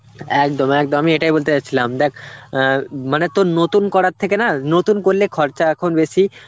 একদম একদম আমি এটাই বলতে যাচ্ছিলাম, দেখ অ্যাঁ মানে তোর নতুন করার থেকে না, নতুন করলে খরচা এখন বেশি